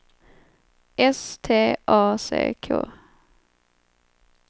S T A C K